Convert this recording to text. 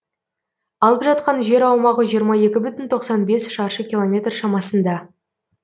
алып жатқан жер аумағы жиырма екі бүтін тоқсан бес шаршы километр шамасында